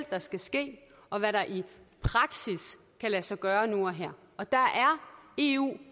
der skal ske og hvad der i praksis kan lade sig gøre nu og her og der er eu